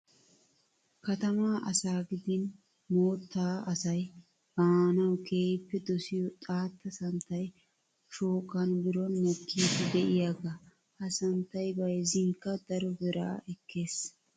Katamaa asaa gidin moottaa asayi baanawu keehippe dosiyoo xaatta santtayi shooqan biron mokkiiddi diyaagaa. Ha santtayi bayizzinkka daro biraa ekkes .